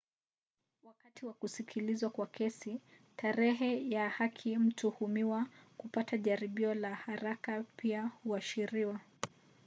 wakati wa kusikilizwa kwa kesi tarehe ya haki ya mtuhumiwa kupata jaribio la haraka pia huashiriwa